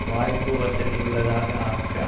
வாய்ப்பு வசதி உள்ளதாக ஆக்க